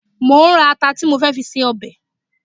Mo ń ra ata tí mo fẹ́ fi ṣe ọbẹ̀